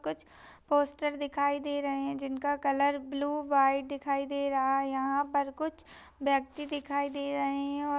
कुछ पोस्टर भी दिखाई दे रहे है। जिनका कलर ब्लू व्हाइट दिखाई दे रहा है। यहाँ पर कुछ व्यक्ति दिखाई दे रहे है और--